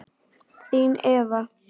Þín, Eva.